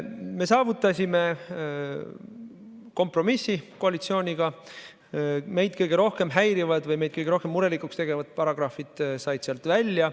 Me saavutasime kompromissi koalitsiooniga, meid kõige rohkem häirivad või meid kõige rohkem murelikuks tegevad paragrahvid said sealt välja.